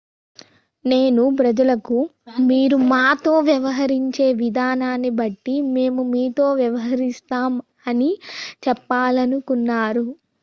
నేను ప్రజలకు మీరు మాతో వ్యవహరించే విధానాన్ని బట్టి మేము మీతో వ్యవహరిస్తాం' అని చెప్పాలనుకుంటున్నాను